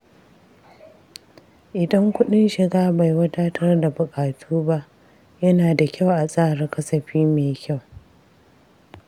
Idan kuɗin shiga bai wadatar da buƙatu ba, yana da kyau a tsara kasafi mai kyau.